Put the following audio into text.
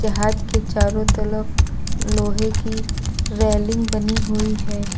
जहाज के चारों तरफ लोहे की रेलिंग बनी हुई है।